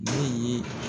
Min ye